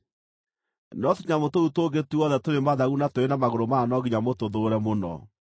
No tũnyamũ tũu tũngĩ tuothe tũrĩ mathagu na tũrĩ na magũrũ mana no nginya mũtũthũũre mũno.